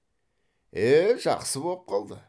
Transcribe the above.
е жақсы боп қалды